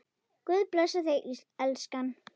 Guð blessi þig, elskan.